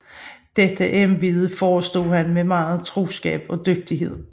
Dette Eebede forestod han med megen troskab og dygtighed